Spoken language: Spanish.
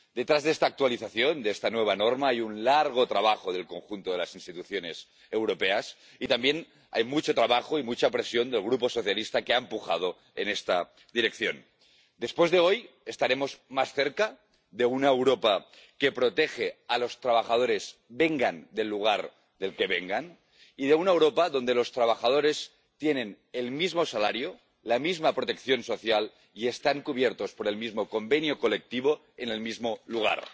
Detrás de esta actualización, de esta nueva norma, hay un largo trabajo del conjunto de las instituciones europeas y, también, hay mucho trabajo y mucha presión del Grupo socialista, que ha empujado en esta dirección. Después de hoy estaremos más cerca de una Europa que protege a los trabajadores, vengan del lugar del que vengan, y de una Europa donde los trabajadores tienen el mismo salario, la misma protección social y están cubiertos por el mismo convenio colectivo en el mismo lugar.